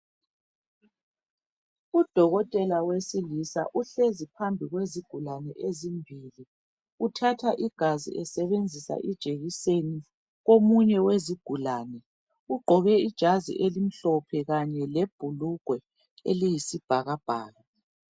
Udokotela wesilisa uhlezi phansi kwezigulane ezimbili. Uthatha igazi esebenzisa ijekiseni komunye wezigulane. Ugqoke ijazi emhlophe kanye lebhulugwe elisibhakabhaka.